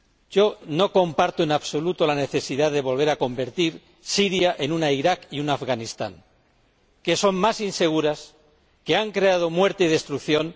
Yo no comparto, en absoluto, la necesidad de convertir a Siria en un Irak y un Afganistán, que son más inseguros, que han creado muerte y destrucción